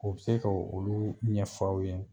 O bɛ se ko olu ɲɛfɔ aw ye